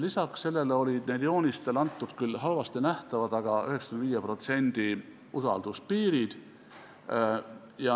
Lisaks sellele olid neil joonistel antud 95%-lised usalduspiirid.